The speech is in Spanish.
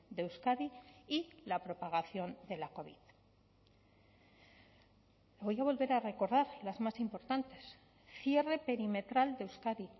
de euskadi y la propagación de la covid voy a volver a recordar las más importantes cierre perimetral de euskadi